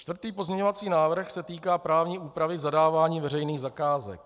Čtvrtý pozměňovací návrh se týká právní úpravy zadávání veřejných zakázek.